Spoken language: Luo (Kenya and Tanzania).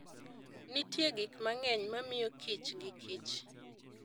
Nitie gik mang'eny ma miyo kich gikich.